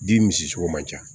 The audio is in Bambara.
Den misi sogo man ca